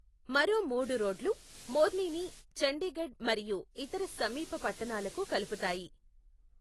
మరో మూడు రోడ్లు మోర్నిని చండీగఢ్ మరియు ఇతర సమీప పట్టణాలకు కలుపుతాయి.